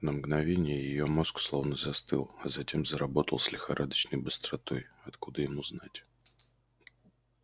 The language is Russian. на мгновение её мозг словно застыл а затем заработал с лихорадочной быстротой откуда ему знать